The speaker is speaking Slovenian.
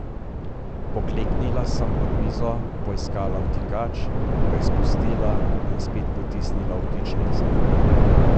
Pokleknila sem, pod mizo poiskala vtikač, ga izpulila in spet potisnila v vtičnico.